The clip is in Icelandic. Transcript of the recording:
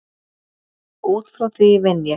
Út frá því vinn ég.